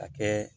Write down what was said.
A kɛ